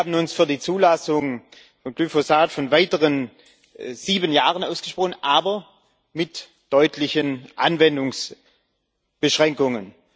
Wir haben uns für die Zulassung von Glyphosat für weitere sieben Jahren ausgesprochen aber mit deutlichen Anwendungsbeschränkungen.